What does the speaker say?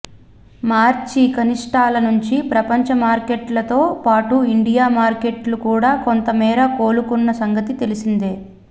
మార్చి కనిష్ఠాల నుంచి ప్రపంచ మార్కెట్లతో పాటు ఇండియా మార్కెట్లు కూడా కొంతమేర కోలుకున్న సంగతి తెలిసిందే